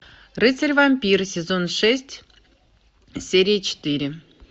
рыцарь вампир сезон шесть серия четыре